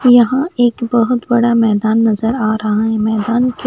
यहाँ एक बहोत बड़ा मैदान नज़र आरहा है मैदान के--